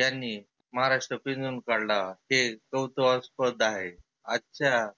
यांनी महाराष्ट्र पिंजुन काढला. हे कौतुहास्पद आहे. आजच्या